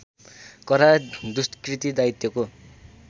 करार दुष्कृति दायित्वको